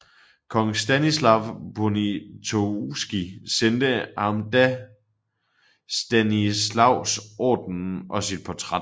Kong Stanislav Poniatovski sendte ham da Stanislaus Ordenen og sit portræt